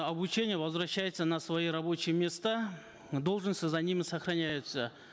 обучения возвращаются на свои рабочие места должности за ними сохраняются